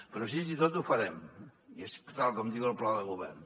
però així i tot ho farem tal com diu el pla de govern